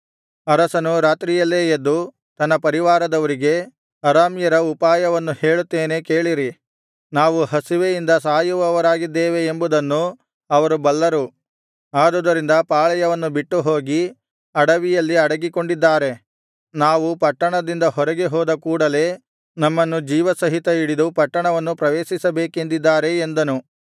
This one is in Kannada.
ಅರಸನು ರಾತ್ರಿಯಲ್ಲೇ ಎದ್ದು ತನ್ನ ಪರಿವಾರದವರಿಗೆ ಅರಾಮ್ಯರ ಉಪಾಯವನ್ನು ಹೇಳುತ್ತೇನೆ ಕೇಳಿರಿ ನಾವು ಹಸಿವೆಯಿಂದ ಸಾಯುವವರಾಗಿದ್ದೇವೆ ಎಂಬುವುದನ್ನು ಅವರು ಬಲ್ಲರು ಆದುದರಿಂದ ಪಾಳೆಯವನ್ನು ಬಿಟ್ಟು ಹೋಗಿ ಅಡವಿಯಲ್ಲಿ ಅಡಗಿಕೊಂಡಿದ್ದಾರೆ ನಾವು ಪಟ್ಟಣದಿಂದ ಹೊರಗೆ ಹೋದ ಕೂಡಲೆ ನಮ್ಮನ್ನು ಜೀವ ಸಹಿತವಾಗಿ ಹಿಡಿದು ಪಟ್ಟಣವನ್ನು ಪ್ರವೇಶಿಸಬೇಕೆಂದಿದ್ದಾರೆ ಎಂದನು